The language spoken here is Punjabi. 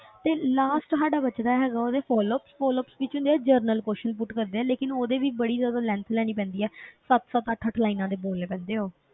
ਤੇ last ਸਾਡਾ ਬਚਦਾ ਹੈਗਾ ਉਹਦੇ flops flops ਵਿੱਚ ਹੁੰਦੇ ਆ general question put ਕਰਦੇ ਆ ਲੇਕਿੰਨ ਉਹਦੇ ਵੀ ਬੜੀ ਜ਼ਿਆਦਾ length ਲੈਣੀ ਪੈਂਦੀ ਹੈ ਸੱਤ ਸੱਤ ਅੱਠ ਅੱਠ lines ਦੇ ਬੋਲਣੇ ਪੈਂਦੇ ਉਹ